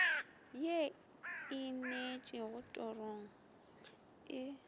ye e ineetšego torong e